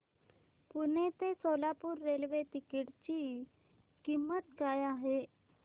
पुणे ते Solapur railway ticket ची किंमत काय आहे